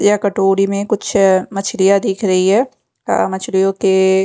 या कटोरी में कुछ मछलियां दिख रही है मछलियों के--